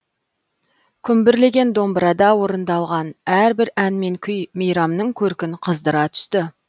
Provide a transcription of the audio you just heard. күмбірлеген домбырада орындалған әрбір ән мен күй мейрамның көркін қыздыра түсті